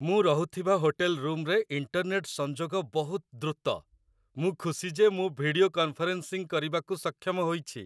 ମୁଁ ରହୁଥିବା ହୋଟେଲ ରୁମରେ ଇଣ୍ଟରନେଟ ସଂଯୋଗ ବହୁତ ଦ୍ରୁତ। ମୁଁ ଖୁସି ଯେ ମୁଁ ଭିଡିଓ କନଫରେନ୍ସିଂ କରିବାକୁ ସକ୍ଷମ ହୋଇଛି।